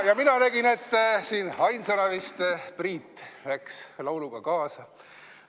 Ja mina nägin, et siin ainsana vist Priit läks lauluga kaasa.